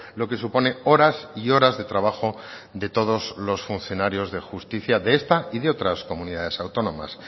lo que supone horas y horas de trabajo de todos los funcionarios de justicia de esta y de otras comunidades autónomas